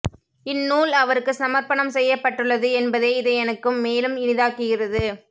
இந்நூல் அவருக்கு சமர்ப்பணம் செய்யப்பட்டுள்ளது என்பதே இதை எனக்கு மேலும் இனிதாக்குகிறது